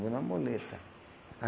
Vou na muleta.